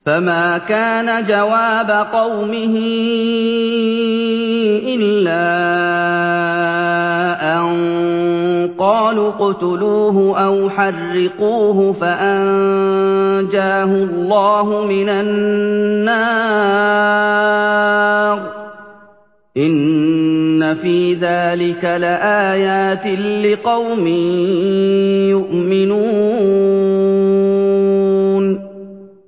فَمَا كَانَ جَوَابَ قَوْمِهِ إِلَّا أَن قَالُوا اقْتُلُوهُ أَوْ حَرِّقُوهُ فَأَنجَاهُ اللَّهُ مِنَ النَّارِ ۚ إِنَّ فِي ذَٰلِكَ لَآيَاتٍ لِّقَوْمٍ يُؤْمِنُونَ